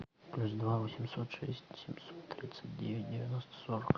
плюс два восемьсот шесть семьсот тридцать девять девяносто сорок